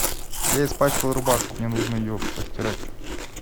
я испачкал рубашку мне нужно ее постирать